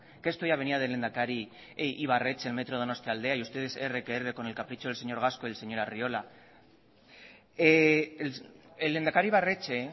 que esto ya venía del lehendakari e ibarretxe el metro donostialdea y ustedes erre que erre con el capricho del señor gasco y el señor arriola el lehendakari ibarretxe